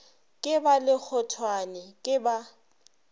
ke ba lekgothwane ke ba